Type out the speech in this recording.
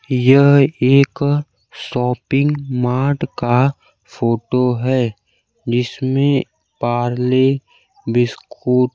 यह एक shopping mart का फोटो है जिसमें पारले बिस्कुट --